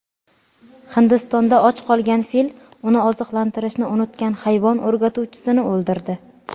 Hindistonda och qolgan fil uni oziqlantirishni unutgan hayvon o‘rgatuvchisini o‘ldirdi.